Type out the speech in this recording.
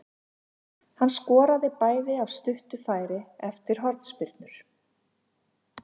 Hann skoraði bæði af stuttu færi eftir hornspyrnur.